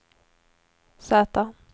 Z